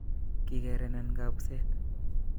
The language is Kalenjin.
Kikerenan kabuset